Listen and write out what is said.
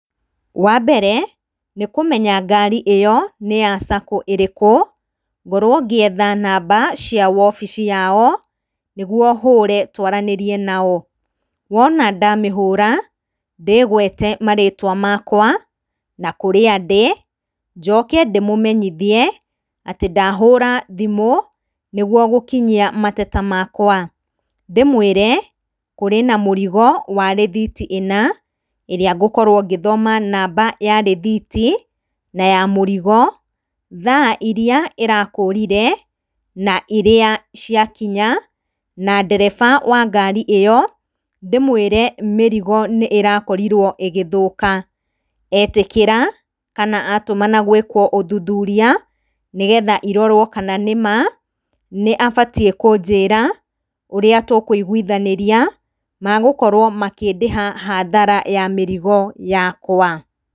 Wa mbere nĩ kũmenya ngari ĩyo nĩya Sacco ĩrĩkũ, ngorwo ngĩetha namba cia wobici yao nĩguo hũre twaranĩrie nao. Wona ndamĩhũra ndĩgwete marĩtwa makwa, na kũrĩa ndĩ, njoke ndĩmũmenyithie atĩ ndahũra thimũ nĩguo gũkinyia mateta makwa. Ndĩmwĩre kũrĩ na mũrigo wa rithiti ĩna ĩrĩa ngũkorwo ngĩthoma namba ya rithiti na ya mũrigo, thaa irĩa ĩrakũrire na ĩrĩa yakinya, na ndereba wa ngari ĩyo ndĩmwĩre mĩrigo nĩĩrakorirwo ĩgĩthũka. Etĩkĩra kana atũmana gwĩko ũthuthuria, nĩgetha irorwo kana nĩ maa nĩabatiĩ kũnjĩra ũrĩa tũkũiguithanĩria magũkorwo makĩndĩha hathara ya mĩrigo yakwa.